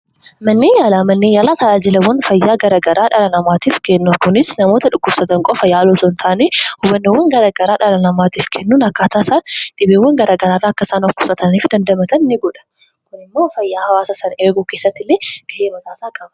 Manneen yaalaa tajaajila adda addaa namaaf kennu. Kunis namoota dhukkubsatan qofa yaaluu osoo hin taane hubannoowwan garagaraa kennuudhaan akka isaan dhibeewwan adda addaa irraa of eegani fi of qusatan gochuudhaan gahee guddaa qaba.